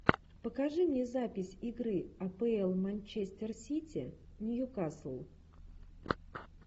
покажи мне запись игры апл манчестер сити ньюкасл